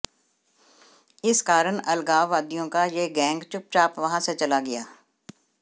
इस कारण अलगाववादियों का यह गैंग चुपचाप वहां से चला गया